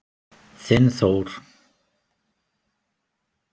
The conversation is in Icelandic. Þinn Þór.